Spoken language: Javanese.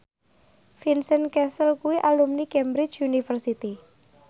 Vincent Cassel kuwi alumni Cambridge University